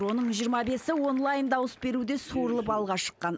оның жиырма бесі онлайн дауыс беруде суырылып алға шыққан